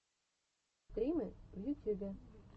включи стримы в ютюбе